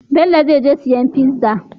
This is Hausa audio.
Bello zai je ya siyo pizza